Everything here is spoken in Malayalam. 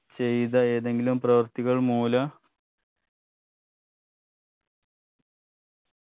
ചെയ്ത ഏതെങ്കിലും പ്രവർത്തികൾ മൂലം